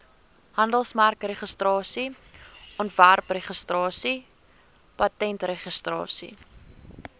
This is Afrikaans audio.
handelsmerkregistrasie ontwerpregistrasie patentregistrasie